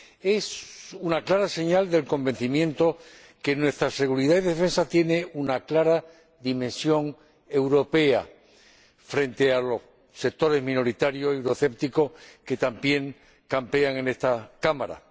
Es una clara señal del convencimiento de que nuestra seguridad y defensa tienen una clara dimensión europea, frente a los sectores minoritarios euroescépticos, que también campean en esta Cámara.